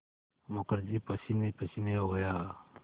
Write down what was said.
मुखर्जी पसीनेपसीने हो गया